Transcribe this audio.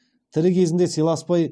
тірі кезінде сыйласпай